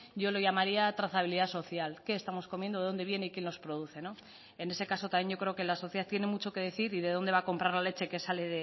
yo lo llamaría trazabilidad social qué estamos comiendo de dónde viene y quién los produce no en ese caso también yo creo que la sociedad tiene mucho que decir y de dónde va a comprar la leche que sale